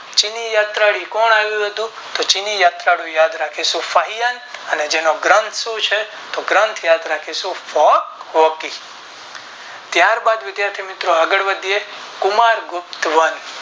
ચીની યાત્રા થી કોણ આવ્યું હતું તો ચીની યાત્રા નું યાદ રાખીશું શાહીંયાંગ અને જેનો ગ્રંથ શું છે તો ગ્રંથ યાદ રાખીશું Folk Walkie ત્યારબાદ વિધાથી મિત્રો આગળ વધીયે કુમાર ગુપ્ત વંશ